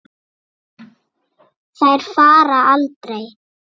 Þær fara aldrei.